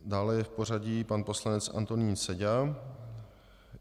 Dále je v pořadí pan poslanec Antonín Seďa.